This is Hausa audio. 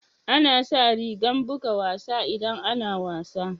Ana sa rigan buga wasa idan ana wasa.